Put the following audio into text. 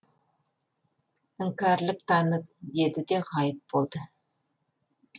іңкәрлік таныт деді де ғайып болды